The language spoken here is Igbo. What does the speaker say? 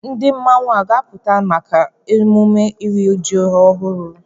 Ndị mmọnwụ a ga-apụta maka emume iri ji ọhụrụ?